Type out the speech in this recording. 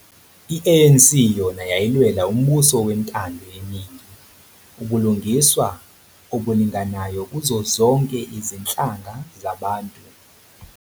I-ANC yona yayilwela umbuso wentando yeningi, ubulungiswa obulinganayo kuzo zonke izinhlanga zabantu.